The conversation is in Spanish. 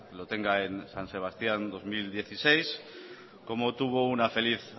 lo tenga en san sebastián dos mil dieciséis como tuvo una feliz